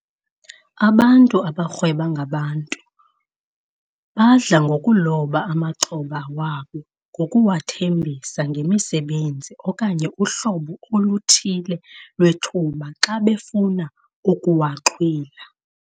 Abantu abarhweba ngabantu badla ngokuloba amaxhoba wabo ngokuwathembisa ngemisebenzi okanye uhlobo oluthile lwethuba xa befuna ukuwaxhwila.